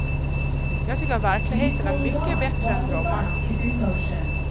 Jag tycker verkligheten är mycket bättre än drömmarna.